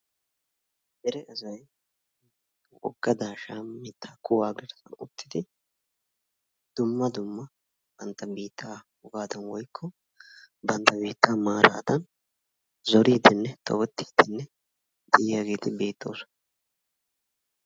Dere asay wogga daashshawa mittaa kuwaa garssan uttidi dumma dumma bantta biittaa wogaadan woykko bantta biittaa maaradan zoridenne tobbetiidde de'iyaageeti beettoosona.